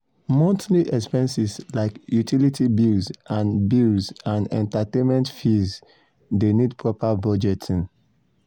monthly expenses like utility bills and bills and entertainment fees de need proper budgeting.